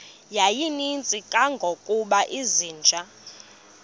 yayininzi kangangokuba izinja